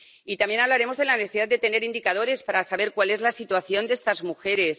Y también hablaremos de la necesidad de tener indicadores para saber cuál es la situación de estas mujeres